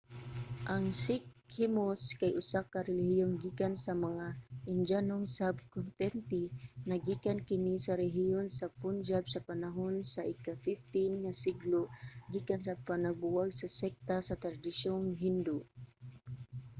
ang sikhismo kay usa ka relihiyon gikan sa mga indiyanong sub-kontinente. naggikan kini sa rehiyon sa punjab sa panahon sa ika-15 nga siglo gikan sa panagbuwag sa sekta sa tradisyong hindu